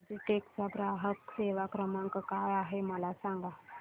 Logitech चा ग्राहक सेवा क्रमांक काय आहे मला सांगा